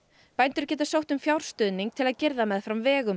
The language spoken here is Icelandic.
bændur geta sótt um fjárstuðning til að girða meðfram vegum